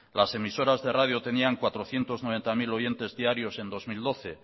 las emisoras de radio tenían cuatrocientos noventa mil oyentes diarios en dos mil doce